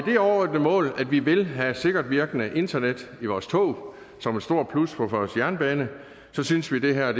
det overodnede mål at vi vil have sikkert virkende internet i vores tog som et stort plus for vores jernbane synes vi det her er